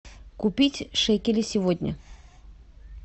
купить шекели сегодня